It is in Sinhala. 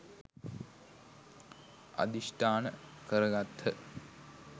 අධිෂ්ඨාන කර ගත්හ.